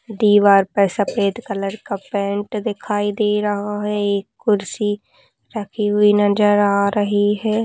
दीवार पर सफ़ेद कलर का पेंट दिखाई दे रहा हैएक कुर्सी रखी हुई नज़र आ रही है।